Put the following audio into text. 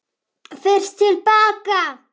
FYRST TIL BAKA.